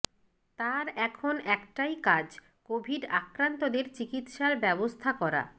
তাঁর এখন একটাই কাজ কোভিড আক্রান্তদের চিকিৎসার ব্যবস্থা করা